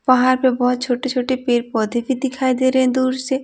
पहाड़ पे बहुत छोटे-छोटे पेड़ पौधे भी दिखाई दे रहे हैं दूर से।